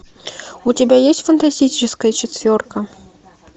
у тебя есть фантастическая четверка